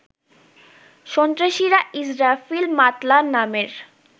সন্ত্রাসীরা ইসরাফিল মাতলা নামের